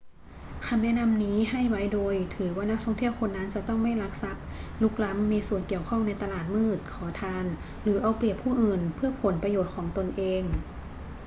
คำแนะนำนี้ให้ไว้โดยถือว่านักท่องเที่ยวคนนั้นจะต้องไม่ลักทรัพย์ รุกล้ำ มีส่วนเกี่ยวข้องในตลาดมืด ขอทาน หรือเอาเปรียบผู้อื่นเพื่อผลประโยชน์ของตนเอง